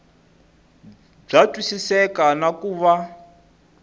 bya twisiseka na ku va